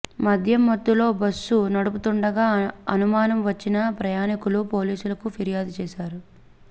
మద్యం మత్తులో బస్సు నడుపుతుండగా అనుమానం వచ్చిన ప్రయాణికులు పోలీసులకు ఫిర్యాదు చేశారు